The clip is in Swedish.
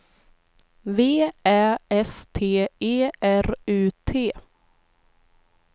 V Ä S T E R U T